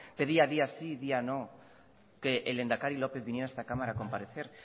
pedía día sí día no que el lehendakari lópez viniera a esta cámara a comparecer